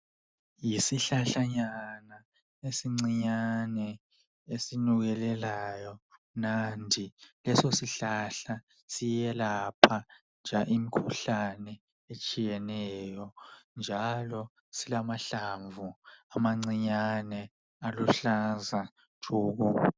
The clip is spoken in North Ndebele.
Yisihlahlanyana esincinyane esinukekelayo mnandi leso sihlahla siyelapha njalo imikhuhlane etshiyeneyo njalo silamahlamvu amancinyane aluhlaza tshoko.